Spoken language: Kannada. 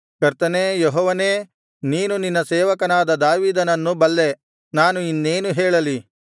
ಕರ್ತನೇ ಯೆಹೋವನೇ ನೀನು ನಿನ್ನ ಸೇವಕನಾದ ದಾವೀದನನ್ನು ಬಲ್ಲೆ ನಾನು ಇನ್ನೇನು ಹೇಳಲಿ